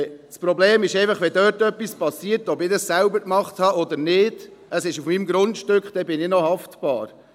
Das Problem ist einfach: Ob ich es selber gemacht habe oder nicht, es ist auf meinem Grundstück, und wenn dort etwas passiert, bin ich noch haftbar.